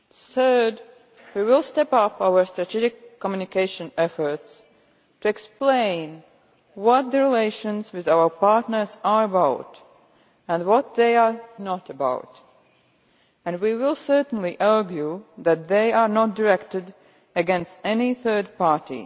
Thirdly, we will step up our strategic communication efforts to explain what the relations with our partners are about and what they are not about, and we will certainly argue that they are not directed against any third party.